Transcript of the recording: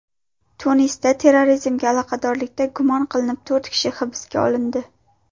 Tunisda terrorizmga aloqadorlikda gumon qilinib to‘rt kishi hibsga olindi.